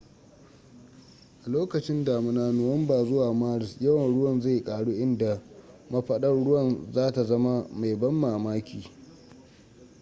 a lokacin damuna nuwamba zuwa maris yawan ruwan zai karu inda mafaɗar ruwa za ta zama mai ban mamaki